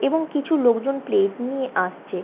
এবং কিছু লোকজন প্লেট নিয়ে আসছে।